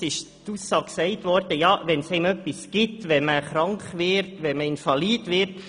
Es ist die Aussage gemacht worden, man könne krank oder invalid werden.